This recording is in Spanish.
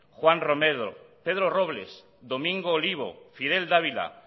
juan romero pedro robles domingo olivo fidel dávila